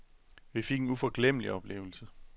Vi fik en uforglemmelig oplevelse.